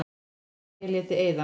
Nema ég léti eyða.